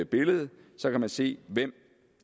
billedet så kan man se hvem